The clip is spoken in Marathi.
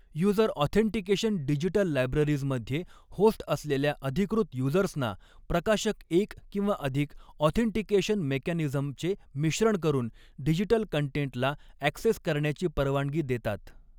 युजर ऑथेन्टिकेशन डिजिटल लायब्ररीजमध्ये होस्ट असलेल्या अधिकृत युजर्सना प्रकाशक एक किंवा अधिक ऑथेंटिकेशन मेकॅनिझमचे मिश्रण करुन डिजिटल कंटेंटला ऍक्सेस करण्याची परवानगी दॆतात.